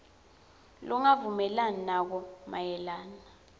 longavumelani nako mayelana